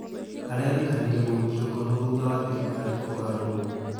Arerĩkanire gũikio ngono thutha wa thirikari kũgarũrwo